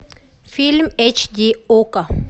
фильм эйч ди окко